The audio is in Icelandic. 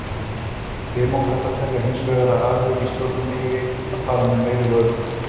Demókratar telja hins vegar að alríkisstjórnin eigi að fara með meiri völd.